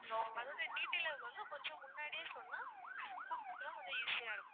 அதோட detail வந்து கொஞ்சம் முன்னாடியே சொன்னா cook க்கு எல்லாம் கொஞ்சம் easy ஆ இருக்கும்.